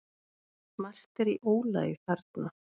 Margt er í ólagi þarna.